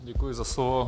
Děkuji za slovo.